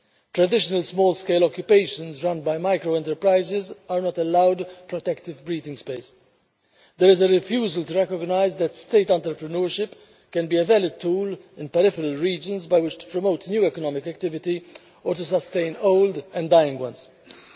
Traditional small scale occupations run by micro enterprises are not allowed protective breathing space. There is a refusal to recognise that state entrepreneurship can be a valid tool in peripheral regions by which to promote new economic activity or to sustain old and dying activities.